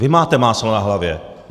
Vy máte máslo na hlavě.